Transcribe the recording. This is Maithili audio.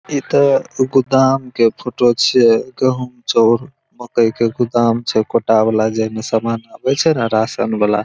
ई त गोदाम के फोटो छै गहूम जोर मकई के गोदाम छै कोटा वाला जह में सामान आवे छै ने राशन वाला।